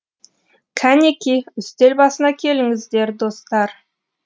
кәнеки үстел басына келіңіздер достар